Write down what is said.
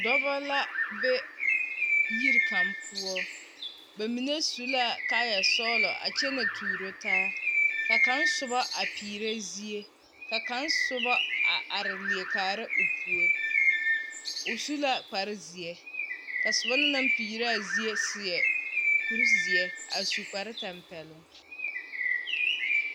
Dͻbͻ la be yiri kaŋa poͻ. Ba mine su la kaayԑ sͻgelͻ a kyԑnԑ tuuro taa, ka kaŋa soba a perԑ zie, ka kaŋa soba a are leԑ kaara o puori. O su la kpare zeԑ, ka soba na naŋ peerԑ a zie seԑ kuri zeԑ a su kpare tampԑloŋ.